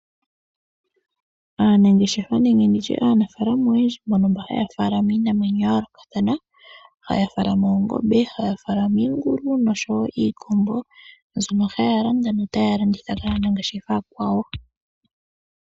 Aanangeshefa nenge nditye aanafalama oyendji mbono haya faalama iinamwenyo ya yoolokathana. Haya faalama Oongombe, haya faalama Iingulu nosho wo Iikombo, mbyono haya landa nota ya landitha kaa nangeshefa aakwawo.